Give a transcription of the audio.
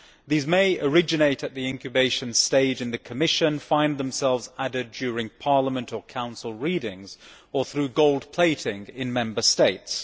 These may originate at the incubation stage in the Commission and find themselves added during Parliament or Council readings or through gold plating in Member States.